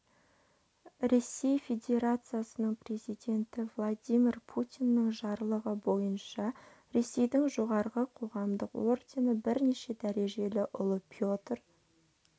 ресей федерациясының президенті владимир путиннің жарлығы бойынша ресейдің жоғарғы қоғамдық ордені бірінші дәрежелі ұлы петр